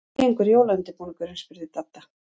Hvernig gengur jólaundirbúningurinn? spurði Dadda.